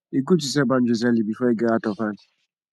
e gud to set boundaries early bifor e get out of hand